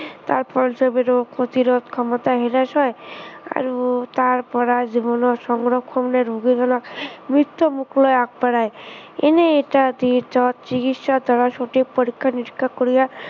তাৰ ৰোগ প্ৰতিৰোধ ক্ষমতা হেৰাই যায়। আৰু তাৰপৰা জীৱনৰ সংৰক্ষৰ ৰোগীবিলাক মৃত্য়ু মুখলৈ আগবঢ়ায়। এনেই এটা চিকিৎসকৰ দ্বাৰা পৰীক্ষা নিৰীক্ষা কৰিয়া